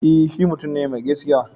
E, shi mutum ne mai gaskiya.